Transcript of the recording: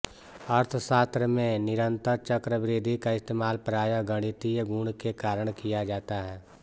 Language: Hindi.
अर्थशास्त्र में निरंतर चक्रवृद्धि का इस्तेमाल प्रायः गणितीय गुण के कारण किया जाता है